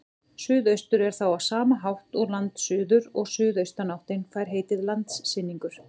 Suðaustur er þá á sama hátt landsuður og suðaustanáttin fær heitið landsynningur.